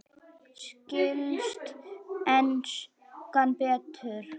Skilst enskan betur?